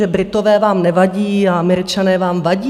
Že Britové vám nevadí a Američané vám vadí?